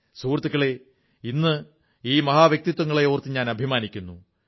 സുഹൃത്തുക്കളേ ഇന്ന് ഭാരതം ഈ മഹാവ്യക്തിത്വങ്ങളെ ഓർത്ത് അഭിമാനിക്കുന്നു